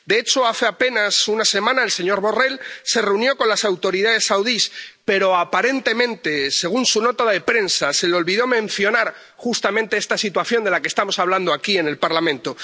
De hecho, hace apenas una semana, el señor Borrell se reunió con las autoridades saudíes, pero, aparentemente, según su nota de prensa, se le olvidó mencionar justamente esta situación de la que estamos hablando aquí, en el Parlamento.